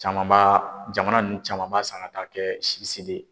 Caman b'a jamana nun caman b'a san ka taa kɛ si